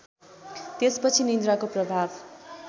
त्यसपछि निन्द्राको प्रभाव